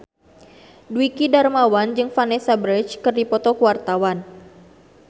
Dwiki Darmawan jeung Vanessa Branch keur dipoto ku wartawan